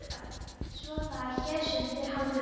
Svo það er hér sem þið haldið ykkur.